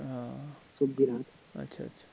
ও আচ্ছা আচ্ছা